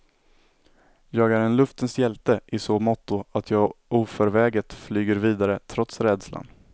Jag är en luftens hjälte i så måtto att jag oförväget flyger vidare trots rädslan.